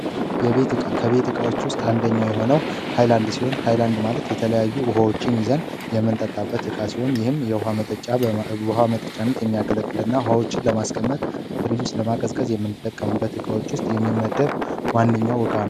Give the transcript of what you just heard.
የቤት እቃ ከቤት እቃዎች ውስጥ አንደኛው የሆነው ኃይላንድ ሲሆን ኃይላንድ የተለያዩ ውሀዎችን ይይዛል። የምንጠጣበት እቃ ሲሆን ይህም ለውሃ መጠጫነት የሚያገለግልና ውሃዎችን ለማስቀመጠና ለማቀዝቀዝ ከምንጠቀምባቸው እቃዎች ውስጥ የሚመደብ ዋነኛው እቃ ነው።